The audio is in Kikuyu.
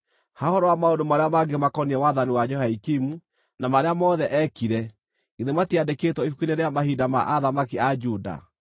Ha ũhoro wa maũndũ marĩa mangĩ makoniĩ wathani wa Jehoiakimu, na marĩa mothe eekire, githĩ matiandĩkĩtwo ibuku-inĩ rĩa mahinda ma athamaki a Juda?